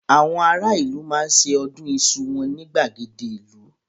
Àwọn ará ìlú máa ṣe ọdún iṣu wọn ní gbàgede ìlú.